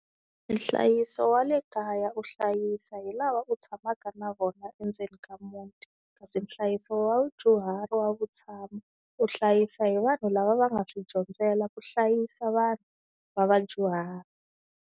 Nhlayiso wa le kaya u hlayisa hi lava u tshamaka na vona endzeni ka muti, kasi nhlayiso wa vadyuhari wa vutshamo u hlayisa hi vanhu lava va nga swi dyondzela ku hlayisa vanhu va vadyuhari.